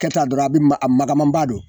Ka taa dɔrɔn a be ma a magamanba don.